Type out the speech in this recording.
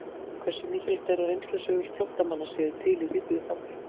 Hversu mikilvægt er að reynslusögur flóttamanna séu til í rituðu formi?